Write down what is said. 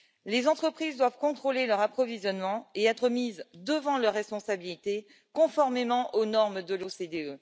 Les entreprises doivent contrôler leur approvisionnement et être mises devant leurs responsabilités, conformément aux normes de l'OCDE.